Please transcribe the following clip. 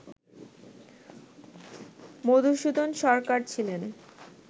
মধুসূদন সরকার ছিলেন